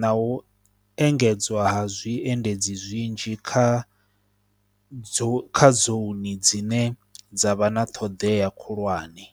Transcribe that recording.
na u engedzwa ha zwiendedzi zwinzhi kha dzo kha dzone dzine dza vha na ṱhoḓea khulwane.